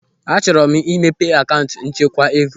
Achọrọ m imepe akaụntụ nchekwa ego.